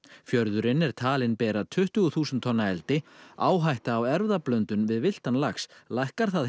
fjörðurinn er talinn bera tuttugu þúsund tonna eldi áhætta á erfðablöndun við villtan lax lækkar það